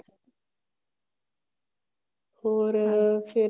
ਹੋਰ ਫੇਰ